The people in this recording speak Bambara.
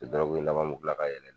I dɔrɔgɔ laban mun jilan ka yɛlɛ.